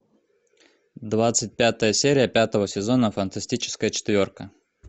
двадцать пятая серия пятого сезона фантастическая четверка